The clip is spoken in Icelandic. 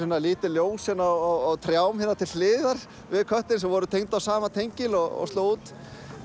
lítil ljós á trjám hérna til hliðar við köttinn sem voru tengd í sama tengi og slógu út